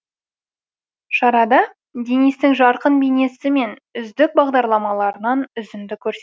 шарада денистің жарқын бейнесі мен үздік бағдарламаларынан үзінді көрсетті